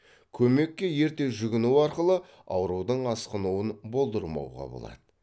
көмекке ерте жүгіну арқылы аурудың асқынуын болдырмауға болады